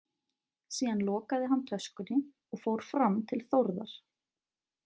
Síðan lokaði hann töskunni og fór fram til Þórðar.